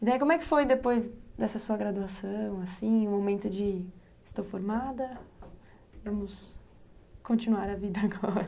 E daí, como é que foi depois dessa sua graduação, assim, o momento de... Estou formada, vamos continuar a vida agora.